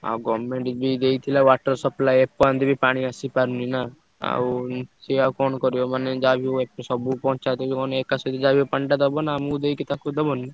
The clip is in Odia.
ଆଉ government ବି ଦେଇଥିଲା water supply ଏପର୍ଯ୍ୟନ୍ତ ବି ପାଣି ଆସିପାରୁନି ନା। ଆଉ ସିଏ ଆଉ କଣ କରିବ ମାନେ ଯାହା ବି ହଉ ସବୁ ପଞ୍ଚାୟତକୁ ମାନେ ଏକାସହିତ ଯାହା ବି ହଉ ପାଣିଟା ଦବ ନା ଆଉ ଆମୁକୁ ଦେଇକି ତାକୁ ଦବନି।